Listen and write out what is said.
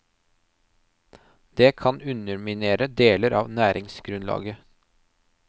Det kan underminere deler av næringsgrunnlaget.